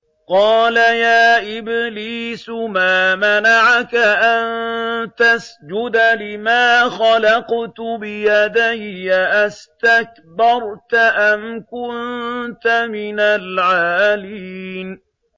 قَالَ يَا إِبْلِيسُ مَا مَنَعَكَ أَن تَسْجُدَ لِمَا خَلَقْتُ بِيَدَيَّ ۖ أَسْتَكْبَرْتَ أَمْ كُنتَ مِنَ الْعَالِينَ